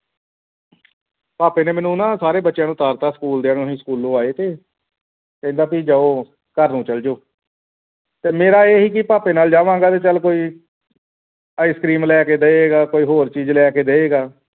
ਭਾਪੇ ਨੇ ਮੈਨੂੰ ਨਾ ਸਾਰੇ ਬੱਚਿਆਂ ਨੂੰ ਉਤਾਰ ਦਿੱਤਾ school ਦਿਆਂ ਨੂੰ ਅਸੀਂ ਸਕੂਲੋ ਆਈ ਤੇ ਕੀ ਕਹਿੰਦਾ ਪੀ ਜਾਓ ਚਲੇ ਜਾਓ ਘਰ ਨੂੰ ਤੇ ਮੇਰਾ ਇਹ ਸੀ ਕਿ ਭਾਪੈ ਨਾਲ ਜਾਵਾਂਗਾ ਤੇ ਚੱਲ ਕੋਈ ice cream ਲੈ ਕੇ ਦੇਗਾਂ ਕੋਈ ਹੋਰ ਚੀਜ਼ ਲੈ ਕੇ ਦੇਵੇਗਾ